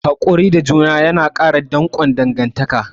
Hakuri da juna yana ƙara danƙon dangantaka.